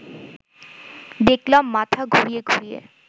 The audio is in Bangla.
দেখলাম মাথা ঘুরিয়ে ঘুরিয়ে